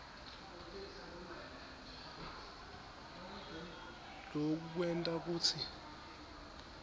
loku kwenta kutsi